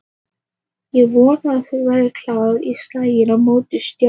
Ég vona að hann verði klár í slaginn á móti Stjörnunni